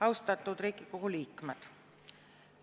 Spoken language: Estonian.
Austatud Riigikogu liikmed!